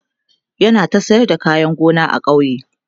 yana ta sayar da kayan gona a kauye